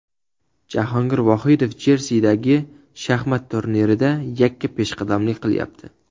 Jahongir Vohidov Jersidagi shaxmat turnirida yakka peshqadamlik qilyapti.